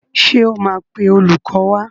Ṣé o máa pe olùkọ́ wá?